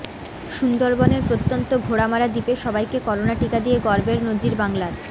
সুন্দরবনের প্রত্যন্ত ঘোড়ামারা দ্বীপে সবাইকে করোনা টিকা দিয়ে গর্বের নজির বাংলার